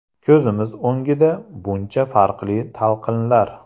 Ko‘zimiz o‘ngida buncha farqli talqinlar!